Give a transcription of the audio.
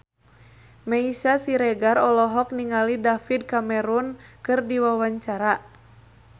Meisya Siregar olohok ningali David Cameron keur diwawancara